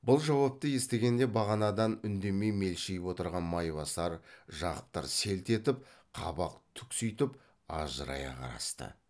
бұл жауапты естігенде бағанадан үндемей мелшиіп отырған майбасар жақыптар селт етіп қабақ түкситіп ажырая қарасты